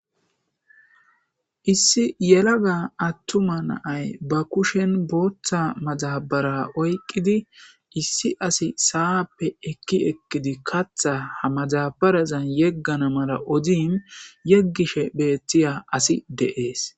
Issi yalaga atuma na'y bakushe botha madabara oyqiddi issi asi sa'ppe katha ekki ekidi ha madabbarezan yegana mala othishenne yegishe betiya asi dees